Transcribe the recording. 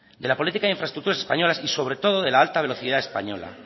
de la política de infraestructuras españolas y sobre todo de la alta velocidad española